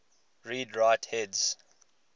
read write heads